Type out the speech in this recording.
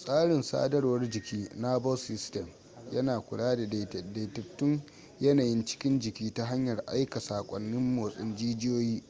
tsarin sadarwar jiki nervous system yana kula da daidaitun yanayin cikin jiki ta hanyar aika saƙonnin motsin jijiyoyi